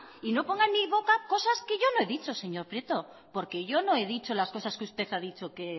y no ponga en mi boca cosas que yo no he dicho señor prieto porque yo no he dicho las cosas que usted ha dicho que